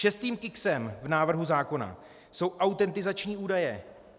Šestým kiksem v návrhu zákona jsou autentizační údaje.